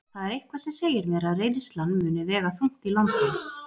Það er eitthvað sem segir mér að reynslan muni vega þungt í London.